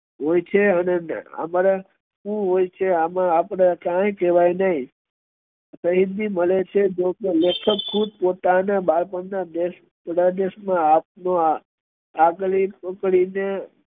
હોય છે અને અમારે શું હોય છે એમાં આપડે કઈ કેહવાય નઈ જોકે લેખક ખુદ પોતાના બાળપણ મા આપના આગલી પકડી ને